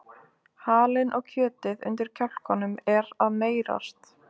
Halinn og kjötið undir kjálkanum er meyrast.